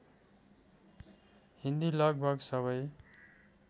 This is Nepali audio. हिन्दी लगभग सबै